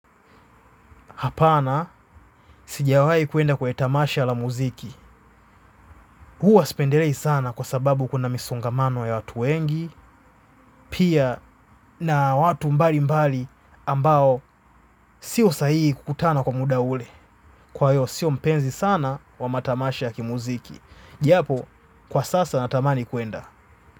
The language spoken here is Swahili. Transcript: Hapana, sijawahi kuenda kwa etamasha la muziki. Huwa spenderei sana. Kwa sababu kuna misongamano ya watu wengi, pia na watu mbali mbali ambao siyo sahihi kukutana kwa muda ule. Kwa hiyo, siyo mpenzi sana wa matamasha yaki muziki. Japo, kwa sasa natamani kuenda.